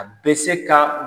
A bɛ se ka